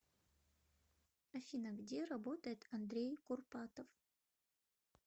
афина где работает андрей курпатов